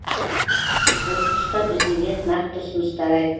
осы тұста президент нақты ұсыныстар